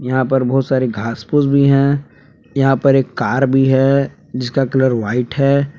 यहां पर बहुत सारे घास फूस भी है यहां पर कार भी है जिसका कलर व्हाइट है।